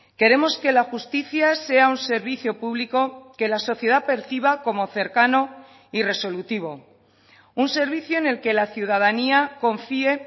queremos que la justicia sea un servicio público que la sociedad perciba como cercano y resolutivo un servicio en el que la ciudadanía confíe